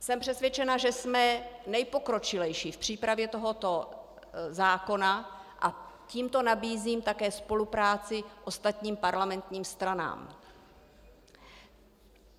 Jsem přesvědčena, že jsme nejpokročilejší v přípravě tohoto zákona, a tímto nabízím také spolupráci ostatním parlamentním stranám.